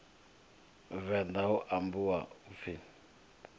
venḓa hu ambwa u pfi